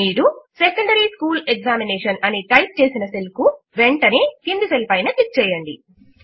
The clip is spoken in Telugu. మీరు సెకండరీ స్కూల్ ఎగ్జామినేషన్ అని టైప్ చేసిన సెల్ కు వెంటనే క్రింది సెల్ పైన క్లిక్ చేయండి